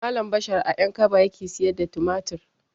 Malam bashir a ƴankaba yake siyar da tumatir